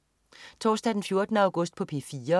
Torsdag den 14. august - P4: